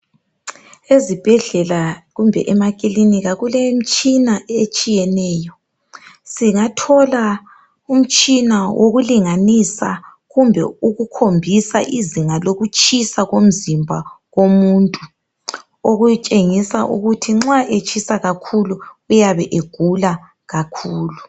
Ezibhedlela kumbe emakilinika kulemitshina etshiyeneyo. Singathola umtshina wokulinganisa kumbe ukukhombisa izinga lokutshisa komzimba womuntu. Okutshengisa ukuthi nxa utshisa kakhulu uyabe egula kakhulu.